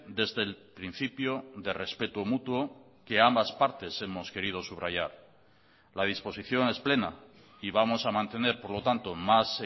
desde el principio de respeto mutuo que ambas partes hemos querido subrayar la disposición es plena y vamos a mantener por lo tanto más